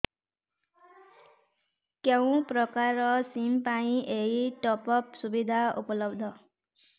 କେଉଁ ପ୍ରକାର ସିମ୍ ପାଇଁ ଏଇ ଟପ୍ଅପ୍ ସୁବିଧା ଉପଲବ୍ଧ